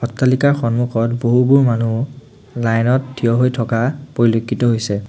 অট্টালিকাৰ সন্মুখত বহুবোৰ মানুহ লাইন ত থিয় হৈ থকা পৰিলক্ষিত হৈছে।